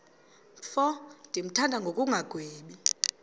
mfo ndimthanda ngokungagwebi